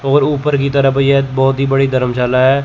और ऊपर की तरफ यह बहोत ही बड़ी धर्मशाला है।